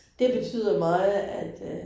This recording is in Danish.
Det betyder meget at øh